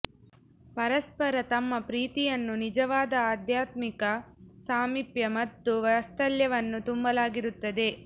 ಪರಸ್ಪರ ತಮ್ಮ ಪ್ರೀತಿಯನ್ನು ನಿಜವಾದ ಆಧ್ಯಾತ್ಮಿಕ ಸಾಮಿಪ್ಯ ಮತ್ತು ವಾತ್ಸಲ್ಯವನ್ನು ತುಂಬಲಾಗಿರುತ್ತದೆ